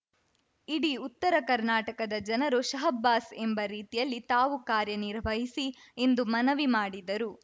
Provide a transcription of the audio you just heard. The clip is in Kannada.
ಇಡೀ ಉತ್ತರ ಕರ್ನಾಟಕದ ಜನರು ಶಹಬ್ಬಾಸ್‌ ಎಂಬ ರೀತಿಯಲ್ಲಿ ತಾವು ಕಾರ್ಯನಿರ್ವಹಿಸಿ ಎಂದು ಮನವಿ ಮಾಡಿದರು